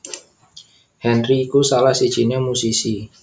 Henry iku salah sijiné musisi